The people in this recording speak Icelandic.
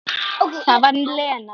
BJÖRN: Það getið þér ekki.